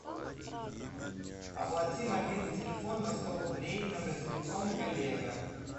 оплати мобильный телефон на сто рублей номер телефона коллега